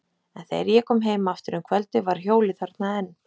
En þegar ég kom heim aftur um kvöldið var hjólið þarna enn.